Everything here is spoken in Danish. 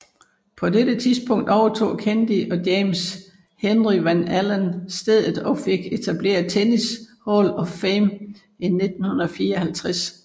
På dette tidspunkt overtog Candy og James Henry Van Alen stedet og fik etableret Tennis Hall of Fame i 1954